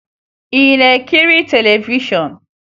Ị na-ekiri televishọn?